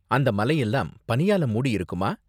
அந்த மலை எல்லாம் பனியால மூடியிருக்குமா?